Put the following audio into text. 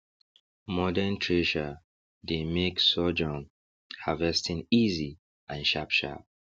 modern thresher dey make sorjourn harvesting easy and sharpsharp